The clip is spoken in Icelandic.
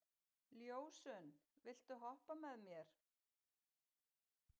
Ljósunn, viltu hoppa með mér?